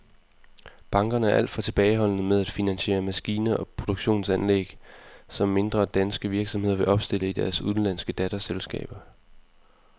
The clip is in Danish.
Bankerne er alt for tilbageholdende med at finansiere maskiner og produktionsanlæg, som mindre danske virksomheder vil opstille i deres udenlandske datterselskaber.